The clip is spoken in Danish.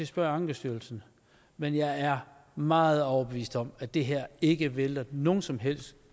spørge ankestyrelsen men jeg er meget overbevist om at det her ikke vælter nogen som helst